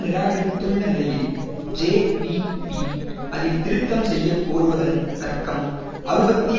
நிராகரித்துள்ள நிலையில் ஜேவிபி அதில் திருத்தம் செய்ய கோருவதன் தர்க்கம் அறுபத்தி